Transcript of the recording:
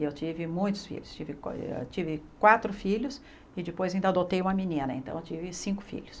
E eu tive muitos filhos, tive qua eh ah tive quatro filhos e depois ainda adotei uma menina, então eu tive cinco filhos.